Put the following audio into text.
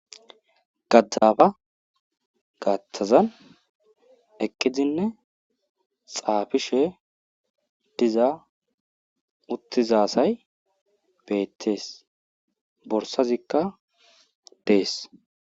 gaatazan eqqidinne xaafishe diza uttiza asay beetees. borsazikka dees.